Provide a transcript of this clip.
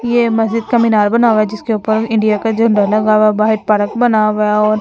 ये मस्जिद का मीनार बना हुआ है जिसके ऊपर इंडिया का झंडा लगा हुआ बाहर पार्क बना हुआ है और--